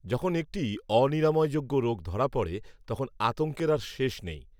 যখন একটি অনিরাময়যোগ্য রোগ ধরা পড়ে, তখন আতঙ্কের আর শেষ নেই